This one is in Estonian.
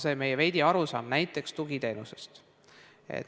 See on see meie arusaam näiteks tugiteenusest.